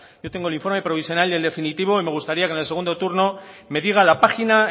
yo tengo el informe provisional y el definitivo y me gustaría que en el segundo turno me diga la página